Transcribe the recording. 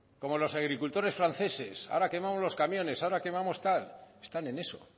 como los agricultores franceses ahora quemamos los camiones ahora quemamos tal están en eso